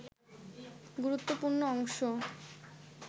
গুরুত্বপূর্ণ অংশ